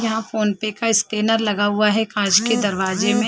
यहां PhonePe का scanner लगा हुआ है कांच के दरवाजे में।